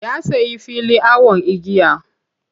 Ya sayi fili awon igiya.